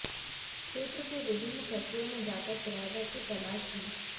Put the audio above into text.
क्षेत्र की विभिन्न फैक्ट्रियों में जाकर किराएदार की तलाश की